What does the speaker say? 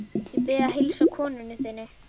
Bið að heilsa konu þinni!